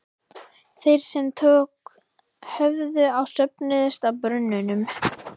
Þeir sem tök höfðu á söfnuðust að brunnunum.